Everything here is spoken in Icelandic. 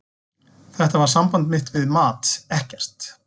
Þetta var samband mitt við mat, ekkert.